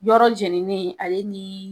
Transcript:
Yɔrɔ jenini ale ni